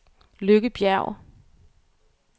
Lykke Bjerg